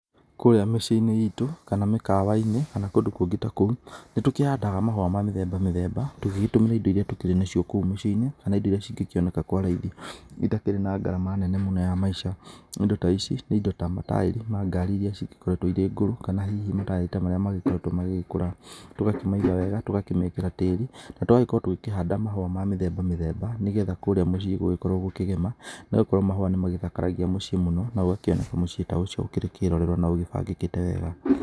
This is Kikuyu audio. Kũrĩa mĩcĩi-inĩ itũ kana mĩkawa-inĩ kana kũndũ kũngĩ ta kũu, nĩ tũkĩhandaga mahũa ma mĩthemba mĩthemba. Tũgĩgĩtũmĩra indo iria tũkĩrĩ na cio kũu mĩciĩ-inĩ kana indo iria cingĩ kĩoneka kware-inĩ itakĩrĩ na ngarama nene mũno ya maica. Indo ta ici nĩ indo ta, mataĩri mangari iria ci gĩkoretwo irĩ ngũrũ, kana hihi ta mataĩri ta marĩa magĩkoretwo magĩgĩkũra. Tũgakĩmaiga wega tũgakĩmekĩra tĩĩri na tũgagĩkorwo tũkĩhanda mahũa ma mĩthemba mĩthemba, nĩgetha kũrĩa mũciĩ gũgĩkorwo gũkĩgema nĩ gũkorwo mahũa nĩ magĩthakaragia mũciĩ mũno na gũgakĩoneka mũcĩũ ta ũcio ũkĩrĩ kĩrorerwa na ũgĩ bangĩkĩte wega.